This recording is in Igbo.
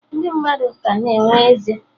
Ndị mmadụ ga na-enwe eze